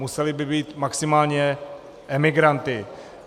Museli by být maximálně emigranty.